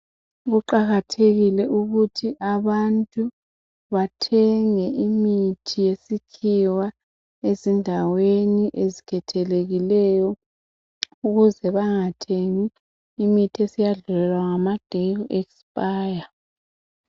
Kuqakathekile ukuthi abantu bathenge imithi yesikhiwa ezindaweni ezikhethelekileyo ukuze bangathengi imithi eseyadlulelwa ngamadeyi oku ekisipaya.